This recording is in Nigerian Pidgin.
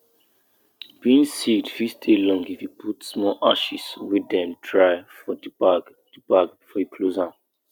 we dey um go turn sesame seed wey we put ontop mat make sun beat am make e fiit dry well well every hour